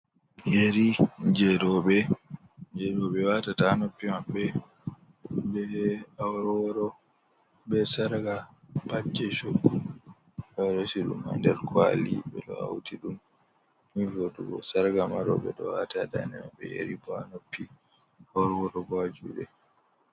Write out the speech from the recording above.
Yeri je roɓe je roɓe wata ta ha noppi maɓɓe be aworworo be sarga pat je shokgu oɗo resi ɗum ha nder ko'ali ɓe do hauti ɗum ni jodugo sarga ma roɓe ɗo wata ha daɗe maɓɓe be yari ɓo noppi aworworo bo ha juɗe.